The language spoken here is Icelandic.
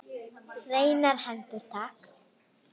Hreinar hendur takk!